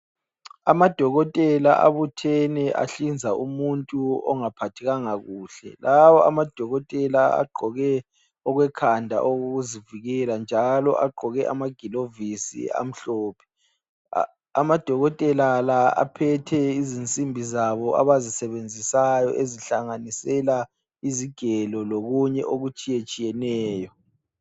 Amadokotela abuthene ahlinza umuntu ongaphathekanga kuhle. Lawa amadokotela agqoke okwekhanda okokuzivikela njalo agqoke amagilovisi amhlophe. Amadokotela la aphethe izinsimbi zabo abazisebenzisayo ezihlanganisela izigelo lokunye okutshiyetshiyeneyo.